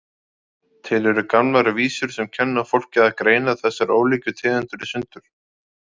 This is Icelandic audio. Til eru gamlar vísur sem kenna fólki að greina þessar ólíku tegundir í sundur,